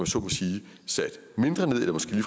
så må sige sat mindre ned eller måske